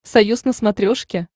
союз на смотрешке